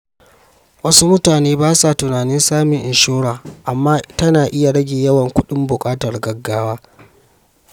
Wasu mutane ba sa tunanin samun inshora, amma tana iya rage yawan kuɗin buƙatar gaugawa.